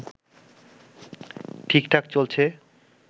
ঠিকঠাক চলছে